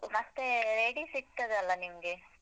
ಮತ್ತೇ ready ಸಿಗ್ತದಲ್ಲ ನಿಮ್ಗೆ?